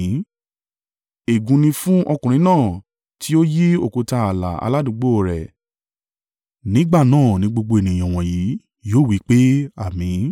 “Ègún ni fún ọkùnrin náà tí ó yí òkúta ààlà aládùúgbò o rẹ̀.” Nígbà náà ni gbogbo ènìyàn wọ̀nyí yóò wí pé, “Àmín!”